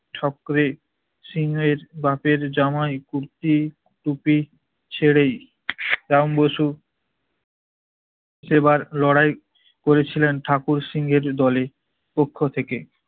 সকলে সিংহের বাপের জামাই কুর্তি, টুপি, ছেড়েই রাম বসু সেবার লড়াই করেছিলেন ঠাকুর সিংহের দলে, পক্ষ থেকে।